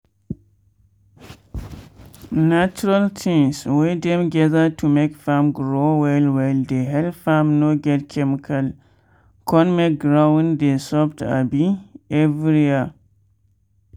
natural things wey dem gather to make farm grow well well dey help farm no get chemical con make ground dey soft abi every year.